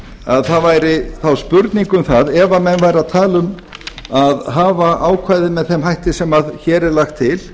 að það væri þá spurning um það ef menn væru að tala um að hafa ákvæðið með þeim hætti sem hér er lagt til